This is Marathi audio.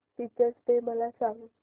टीचर्स डे मला सांग